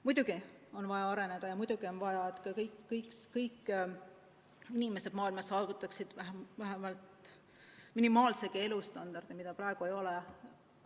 Muidugi on vaja areneda ja muidugi on vaja, et kõik inimesed maailmas saavutaksid vähemalt minimaalse elustandardi, mida praegu ei ole.